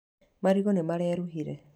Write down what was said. Marigũ nĩ mareruhire.